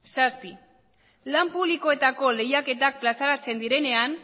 zazpi lan publikoetako lehiaketak plazaratzen direnean